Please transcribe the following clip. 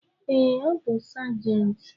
Ee, ọ bu sajenti